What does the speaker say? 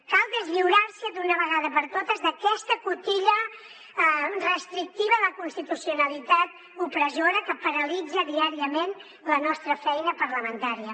cal deslliurar se d’una vegada per totes d’aquesta cotilla restrictiva de la constitucionalitat opressora que paralitza diàriament la nostra feina parlamentària